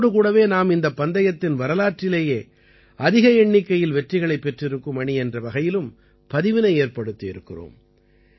இதோடு கூடவே நாம் இந்தப் பந்தயத்தின் வரலாற்றிலேயே அதிக எண்ணிக்கையில் வெற்றிகளைப் பெற்றிருக்கும் அணி என்ற வகையிலும் பதிவினை ஏற்படுத்தியிருக்கிறோம்